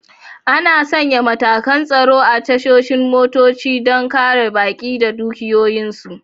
Ana sanya matakan tsaro a tashanin motoci don kare baƙi da dukiyoyinsu.